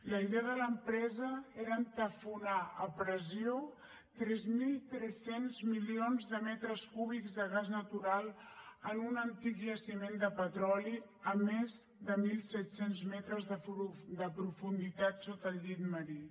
la idea de l’empresa era entaforar a pressió tres mil tres cents milions de metres cúbics de gas natural en un antic jaciment de petroli a més de mil set cents metres de profunditat sota el llit marí